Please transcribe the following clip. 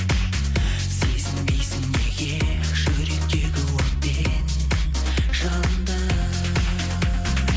сезінбейсің неге жүректегі от пен жалынды